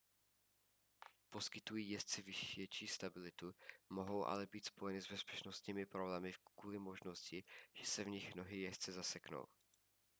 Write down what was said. poskytují jezdci větší stabilitu mohou ale být spojeny s bezpečnostními problémy kvůli možnosti že se v nich nohy jezdce zaseknou